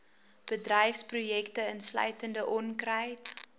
bedryfsprojekte insluitende onkruid